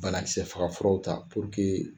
Banakisɛ faga furaw ta